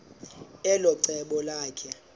elo cebo lakhe